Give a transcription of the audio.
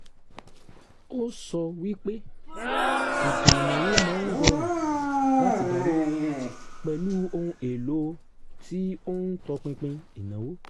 ó sọ wípé ètò ìnáwó máa ń rọrùn láti darí pẹ̀lú ohun èèlò tí ó ń tọpinpin ìnáwó